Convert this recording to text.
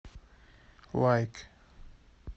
лайк